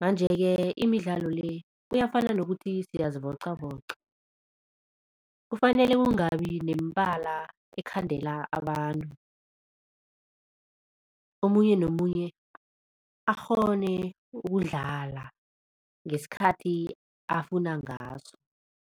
Manje-ke imidlalo le kuyafana nokuthi siyazivocavoca kufanele kungabi nemibala ekhandela abantu omunye nomunye akghone ukudlala ngesikhathi afuna ngaso.